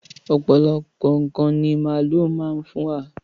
Ọ̀pọ̀lọpọ̀ ǹkan ní màálu má ń fún wa.